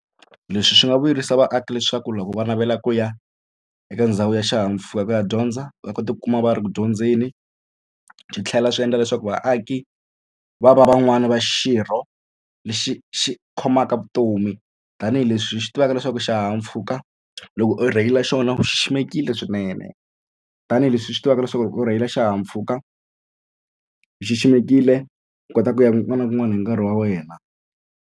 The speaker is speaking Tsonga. Leswi swi nga vuyerisa vaaki leswaku loko va navela ku ya eka ndhawu ya xihahampfhuka ku ya dyondza va kota ku kuma va ri ku dyondzeni swi tlhela swi endla leswaku vaaki va va van'wani va xirho lexi xi khomaka vutomi tanihileswi hi swi tivaka leswaku xihahampfhuka loko u rheyila xona u xiximekile swinene tanihileswi hi swi tivaka leswaku u rheyila xihahampfhuka u xiximekile u kota ku ya kun'wana na kun'wana hi nkarhi wa wena.